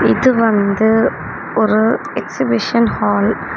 இது வந்து ஒரு எக்சிபிஷன் ஹால் .